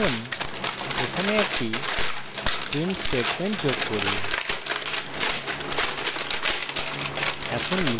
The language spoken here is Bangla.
এখন এখানে একটি print statement যোগ করি